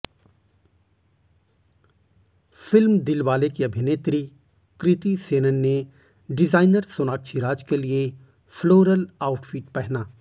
film Dilwale की अभिनेत्री कृति सेनन ने डिज़ाइनर सोनाक्षी राज के लिए फ्लोरल आउटफिट पहना